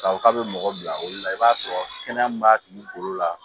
K'a fɔ k'a bɛ mɔgɔ bila o la i b'a sɔrɔ kɛnɛya min b'a tigi bolo la